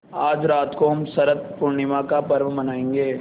आज रात को हम शरत पूर्णिमा का पर्व मनाएँगे